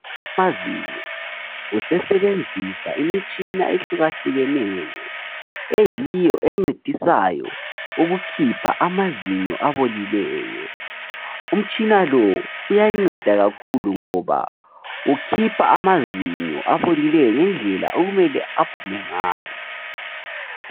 Udokotela wamazinyo usesebenzisa imitshina ehluka hlukeneyo eyiyo encedisayo ukukhipha amazinyo abolileyo. Umtshina lo uyanceda kakhulu ngoba ukhipha amazinyo abolileyo ngendlela okumele aphume ngayo.